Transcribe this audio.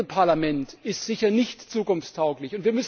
Ein Pendelparlament ist sicher nicht zukunftstauglich!